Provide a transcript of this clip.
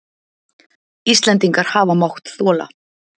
Íslendingar hafa mátt þola.